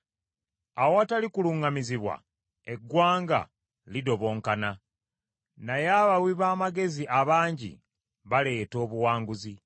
Awatali kuluŋŋamizibwa eggwanga lidobonkana, naye abawi b’amagezi abangi baleeta obuwanguzi.